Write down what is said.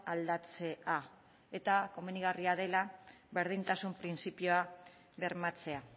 aldatzea eta komenigarria dela berdintasun printzipioa bermatzea